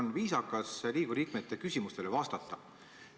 On viisakas Riigikogu liikmete küsimustele vastata.